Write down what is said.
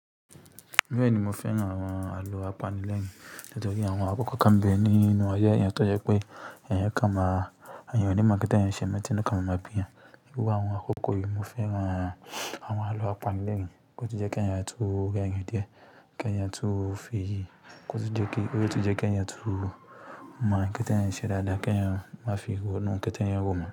Bẹ́ẹ̀ni, mo fẹ́ran àwọn àlọ́ apanilẹ́rìn nítorí àwọn akọkọ kàn bẹ́ ní inú ayé yẹn tó jẹ pé ìyẹn kàn máa iyàn ní má nkétì ẹyan ṣẹ mọ́ ti inu kàn máa mọ ma bí eyán àwọn akọkọ yìí. Mo fẹ́ran àwọn àlọ́ apanilẹ́rìn wọn o tun jẹ kí ẹni yẹn tó rẹrin díẹ̀, kí ẹni yẹn tó fi iyì, nítorí pé ó ti jẹ́ kí ẹni yẹn tó mọ̀ kétẹ̀ ẹni ṣẹ dáadáa, kí ẹni yẹn má fi ro nù u ǹkan t’èèyàn ń rò mọ̀